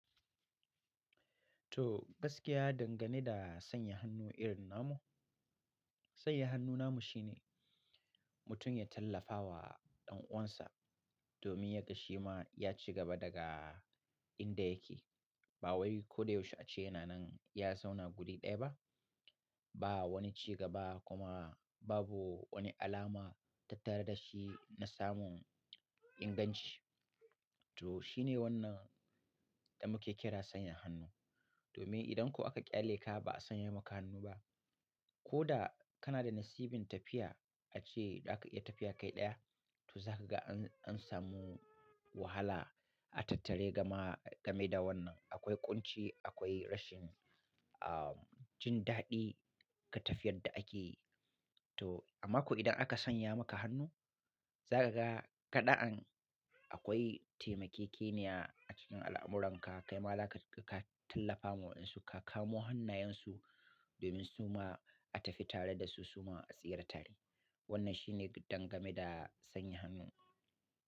To gaskiya dangane da sanya hannu irin namu, sanya hannu namu shine mutum ya tallafa wa ɗan uwansa domin yaƙi shi ma ya ci gaba daga inda yake. Ba wai ko da yaushe a ce yana nan ya zauna guri ɗaya ba. Ba wani cigaba kuma babu wani alama tattare da shi na samun inganci. To shi ne wannan da muke kira sanya hannu. Domin idan ko aka ƙyale ka ba'a sanya maka hannu ba, ko da kana da nasibin tafiya a ce da aka iya tafiya kai ɗaya, to za ka ga an, an samu wahala a tattare gama game da wannan. Akwai ƙunci, akwai rashin, uh, jin daɗi ga tafiyar da ake. To amma ko idan aka sanya maka hannu, za ka ga kaɗa'an akwai taimake keniya a cikin al'amuranka. Kai ma za ka, ka tallafa wa waɗansu, ka kamo hannayensu domin su ma a tafi tare da su, su ma a tsira tare. Wannan shi ne dangane da sanya hannu.